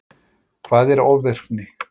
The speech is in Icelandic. Hvað er ofvirkni?